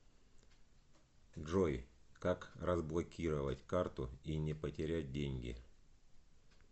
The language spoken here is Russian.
джой как разблокировать карту и не потерять деньги